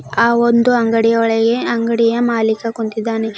ಆ ಒಂದು ಅಂಗಡಿಯ ಒಳಗೆ ಅಂಗಡಿಯ ಮಾಲೀಕ ಕುಂತಿದ್ದಾನೆ.